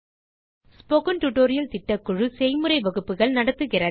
spoken tutorial திட்டக்குழு செய்முறை வகுப்புகள் நடத்துகிறது